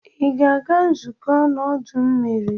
Ị ga-aga nzukọ n'ọdọ mmiri?